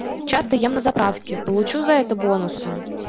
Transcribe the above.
часто ем на заправке получу за это бонусы